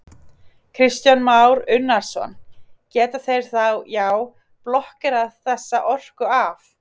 Kristján Már Unnarsson: Geta þeir þá, já, blokkerað þessa orku af?